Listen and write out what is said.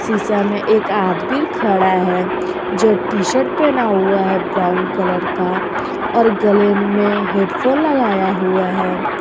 शीशा में एक आदमी खड़ा है जो टी शर्ट पहना हुआ है ब्राउन कलर का और गले में हेडफोन लगाया हुआ है।